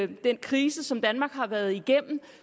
den krise som danmark har været igennem